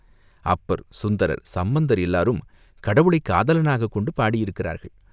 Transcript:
அப்பர், சுந்தரர், சம்பந்தர் எல்லோரும் கடவுளைக் காதலனாகக் கொண்டு பாடியிருக்கிறார்கள்.